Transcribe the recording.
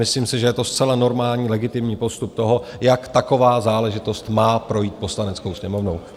Myslím si, že je to zcela normální, legitimní postup toho, jak taková záležitost má projít Poslaneckou sněmovnou.